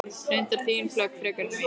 Reyndar þín plögg frekar en mín.